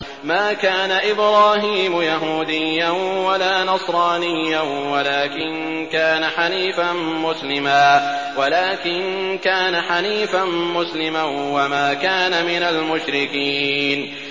مَا كَانَ إِبْرَاهِيمُ يَهُودِيًّا وَلَا نَصْرَانِيًّا وَلَٰكِن كَانَ حَنِيفًا مُّسْلِمًا وَمَا كَانَ مِنَ الْمُشْرِكِينَ